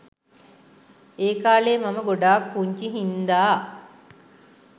ඒකාලේ මම ගොඩක් පුංචි හින්දා